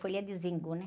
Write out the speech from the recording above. Folha de, né?